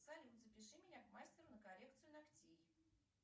салют запиши меня к мастеру на коррекцию ногтей